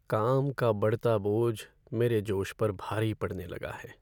काम का बढ़ता बोझ मेरे जोश पर भारी पड़ने लगा है।